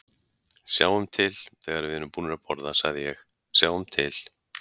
Sjáum til, þegar við erum búnir að borða sagði ég, sjáum til